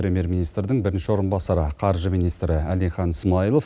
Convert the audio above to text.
премьер министрдің бірінші орынбасары қаржы министрі әлихан смайылов